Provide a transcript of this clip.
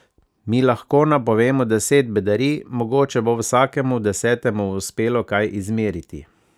Mi lahko napovemo deset bedarij, mogoče bo vsakemu desetemu uspelo kaj izmeriti ...